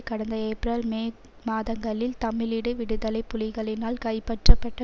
கடந்த April May மாதங்களில் தமிழீடு விடுதலை புலிகளினால் கைப்பற்றப்பட்ட